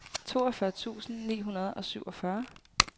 toogfyrre tusind ni hundrede og syvogfyrre